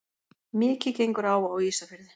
Mikið gengur á á Ísafirði.